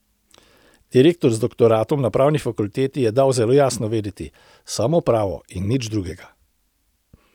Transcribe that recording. Direktor z doktoratom na pravni fakulteti je dal zelo jasno vedeti: 'Samo pravo in nič drugega'.